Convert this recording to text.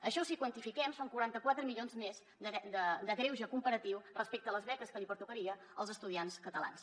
això si ho quantifiquem són quaranta quatre milions més de greuge comparatiu respecte a les beques que pertocarien als estudiants catalans